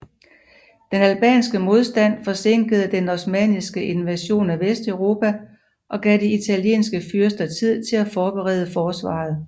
Den albanske modstand forsinkede den osmanniske invasion af Vesteuropa og gav de italienske fyrster tid til at forberede forsvaret